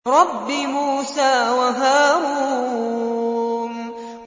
رَبِّ مُوسَىٰ وَهَارُونَ